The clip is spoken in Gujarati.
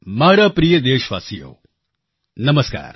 મારા પ્રિય દેશવાસીઓ નમસ્કાર